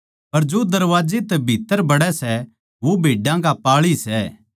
पर जो दरबाजे तै भीत्त्तर बड़ै सै वो भेड्डां का पाळी सै